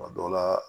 Kuma dɔw la